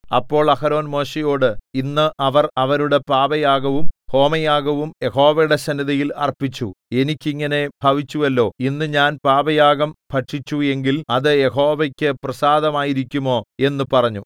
അപ്പോൾ അഹരോൻ മോശെയോട് ഇന്ന് അവർ അവരുടെ പാപയാഗവും ഹോമയാഗവും യഹോവയുടെ സന്നിധിയിൽ അർപ്പിച്ചു എനിക്ക് ഇങ്ങനെ ഭവിച്ചുവല്ലോ ഇന്ന് ഞാൻ പാപയാഗം ഭക്ഷിച്ചു എങ്കിൽ അത് യഹോവയ്ക്കു പ്രസാദമായിരിക്കുമോ എന്നു പറഞ്ഞു